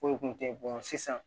Foyi kun tɛ sisan